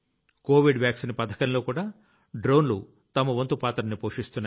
Covid vaccine పథకంలోకూడా డ్రోన్లు తమ వంతు పాత్రని పోషిస్తున్నాయి